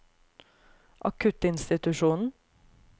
akuttinstitusjonen